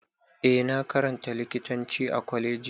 Eh na karanta likitanci a Kwaleji.